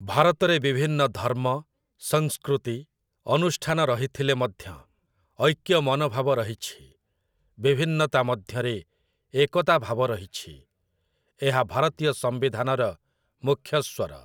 ଭାରତରେ ବିଭିନ୍ନ ଧର୍ମ, ସଂସ୍କୃତି, ଅନୁଷ୍ଠାନ ରହିଥିଲେ ମଧ୍ୟ ଐକ୍ୟ ମନୋଭାବ ରହିଛି, ବିଭିନ୍ନତା ମଧ୍ୟରେ ଏକତାଭାବ ରହିଛି, ଏହା ଭାରତୀୟ ସମ୍ବିଧାନର ମୁଖ୍ୟ ସ୍ୱର।